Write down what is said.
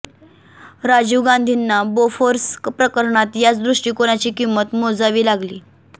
राजीव गांधींना बोफोर्स प्रकरणात याच दृष्टिकोनाची किंमत मोजावी लागली